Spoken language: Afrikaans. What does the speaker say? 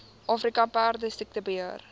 afrika perdesiekte beheer